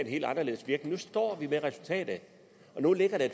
helt anderledes nu står vi med resultatet og nu ligger der